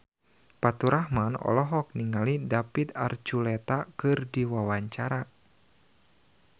Faturrahman olohok ningali David Archuletta keur diwawancara